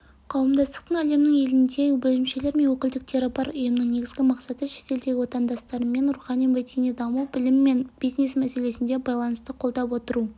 қауымдастықтың әлемнің елінде бөлімшелері мен өкілдіктері бар ұйымның негізгі мақсаты шетелдегі отандастырмен рухани-мәдени даму білім мен бизнес мәселесінде байланысты қолдап отыру